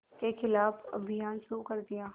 के ख़िलाफ़ अभियान शुरू कर दिया